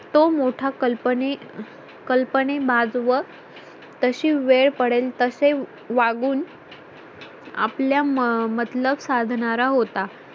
तो मोठा कल्पनी कल्पनी माजवत तशी वेळ पडेल तसे वागून आपल्या मतलब साधणारा होता